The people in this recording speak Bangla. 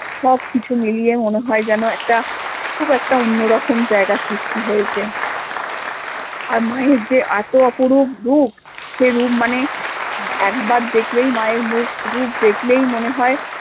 সব কিছু মিলিয়ে মনে হয় যেন একটা খুব একটা অন্যরকম জায়গা সৃষ্টি হয়েছে আর মা এর যে এত অপরূপ রূপ সে রূপ মানে একবার দেখলেই মা এর মুখ রূপ দেখলেই মনে হয়